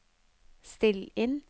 still inn